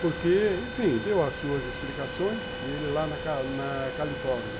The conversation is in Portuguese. Porque, enfim, deu as suas explicações e ele lá na na Califórnia.